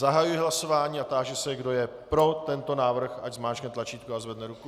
Zahajuji hlasování a táži se, kdo je pro tento návrh, ať zmáčkne tlačítko a zvedne ruku.